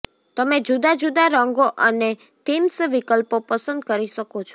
તમે જુદા જુદા રંગો અને થીમ્સ વિકલ્પો પસંદ કરી શકો છો